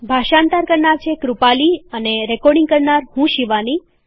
ભાષાંતર કરનાર છે કૃપાલી અને રેકોર્ડીંગ કરનાર હું છું શિવાની